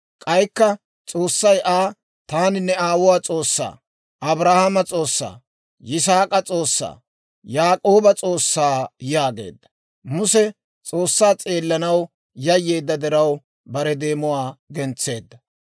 K'aykka S'oossay Aa, «Taani ne aawuwaa S'oossaa, Abrahaamo S'oossaa, Yisaak'a S'oossaa, Yaak'ooba S'oossaa» yaageedda. Muse S'oossaa s'eellanaw yayyeedda diraw, bare deemuwaa gentseedda.